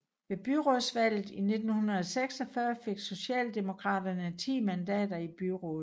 Ved byrådsvalget i 1946 fik Socialdemokraterne 10 mandater i byrådet